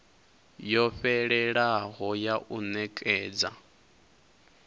yo fhelelaho ya u nekedza